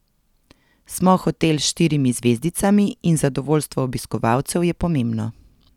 Smo hotel s štirimi zvezdicami in zadovoljstvo obiskovalcev je pomembno.